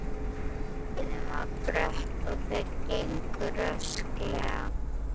Leiðin var brött og þeir gengu rösklega.